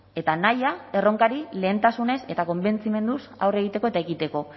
eta nahia erronkari lehentasunez eta konbentzimenduz aurre egiteko eta ekiteko